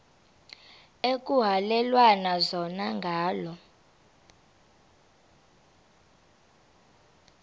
ekuhhalelwana zona ngala